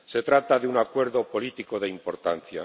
Se trata de un acuerdo político de importancia.